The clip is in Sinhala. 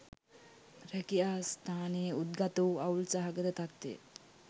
රැකියා ස්ථානයේ උද්ගතවූ අවුල් සහගත තත්ත්වය